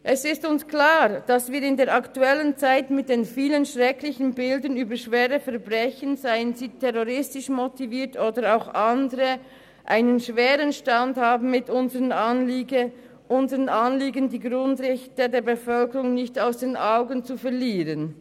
Es ist uns klar, dass wir in der aktuellen Zeit mit den vielen schrecklichen Bildern schwerer Verbrechen, seien sie terroristisch motiviert oder auch anders, einen schweren Stand haben mit unserem Anliegen, die Grundrechte der Bevölkerung nicht aus den Augen zu verlieren.